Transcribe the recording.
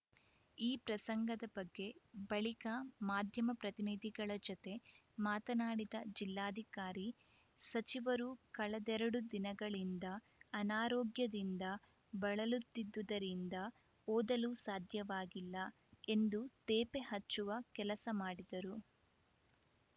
ಈ ಪ್ರಸಂಗದ ಬಗ್ಗೆ ಬಳಿಕ ಮಾಧ್ಯಮ ಪ್ರತಿನಿಧಿಗಳ ಜತೆ ಮಾತನಾಡಿದ ಜಿಲ್ಲಾಧಿಕಾರಿ ಸಚಿವರು ಕಳೆದೆರಡು ದಿನಗಳಿಂದ ಅನಾರೋಗ್ಯದಿಂದ ಬಳಲುತ್ತಿದ್ದುದರಿಂದ ಓದಲು ಸಾಧ್ಯವಾಗಿಲ್ಲ ಎಂದು ತೇಪೆ ಹಚ್ಚುವ ಕೆಲಸ ಮಾಡಿದರು